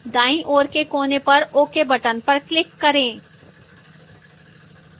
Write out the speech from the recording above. दाईं ओर के कोने पर ok button पर click करें